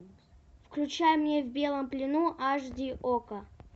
включай мне в белом плену аш ди окко